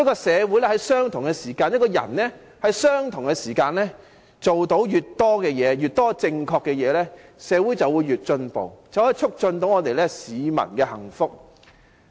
社會和人們在相同的時間內做到越多正確的事情，社會便會越進步，便可促進市民的幸福。